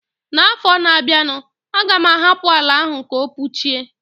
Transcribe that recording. N'afọ na bia nu, a ga m ahapụ àlà áhù ka o puchie